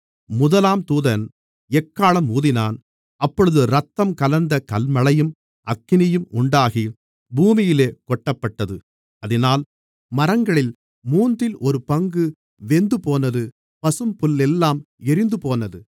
முதலாம் தூதன் எக்காளம் ஊதினான் அப்பொழுது இரத்தம் கலந்த கல்மழையும் அக்கினியும் உண்டாகி பூமியிலே கொட்டப்பட்டது அதினால் மரங்களில் மூன்றில் ஒரு பங்கு வெந்துபோனது பசும்புல்லெல்லாம் எரிந்துபோனது